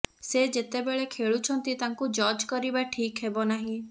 ସେ ଯେତେବେଳେ ଖେଳୁଛନ୍ତି ତାଙ୍କୁ ଜର୍ଜ କରିବା ଠିକ୍ ହେବ ନାହିଁ